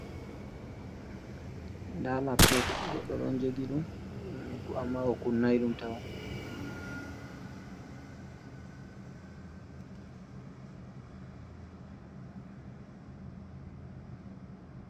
Nda laptop goɗɗo ɗon jogi ɗum uhm amma o kunnai ɗum tawon.